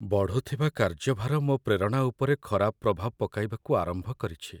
ବଢ଼ୁଥିବା କାର୍ଯ୍ୟଭାର ମୋ ପ୍ରେରଣା ଉପରେ ଖରାପ ପ୍ରଭାବ ପକାଇବାକୁ ଆରମ୍ଭ କରିଛି।